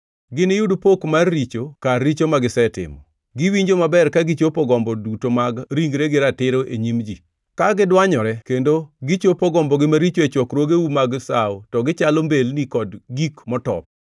Giniyud pok mar richo, kar richo magisetimo. Giwinjo maber ka gichopo gombo duto mag ringregi ratiro e nyim ji. Ka gidwanyore kendo gichopo gombogi maricho e chokruogeu mag sawo to gichalo mbelni kod gik motop.